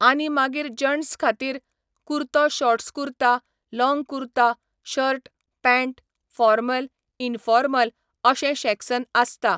आनी मागीर जटंस् खातीर, कुर्तो shorts kurta, long kurta, shirt, pant, formal, informal अशें शेक्सन आसता.